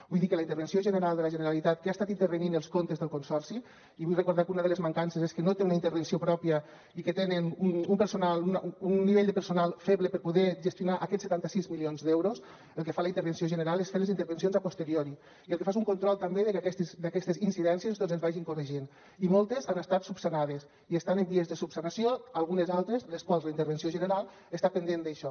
vull dir que la intervenció general de la generalitat que ha estat intervenint els comptes del consorci i vull recordar que una de les mancances és que no té una intervenció pròpia i que tenen un nivell de personal feble per poder gestionar aquests setanta sis milions d’euros el que fa la intervenció general és fer les intervencions a posteriori i el que fa és un control també de que aquestes incidències doncs es vagin corregint i moltes han estat solucionades i estan en vies de solucionar se’n algunes altres les quals la intervenció general està pendent d’això